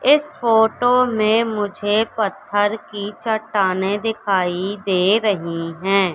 इस फोटो में मुझे पत्थर की चट्टानें दिखाई दे रहीं हैं।